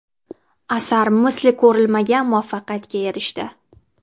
Asar misli ko‘rilmagan muvaffaqiyatga erishdi.